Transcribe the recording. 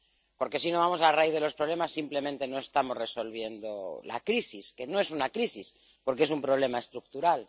Porque si no vamos a la raíz de los problemas, simplemente no estamos resolviendo la crisis, que no es una crisis, porque es un problema estructural.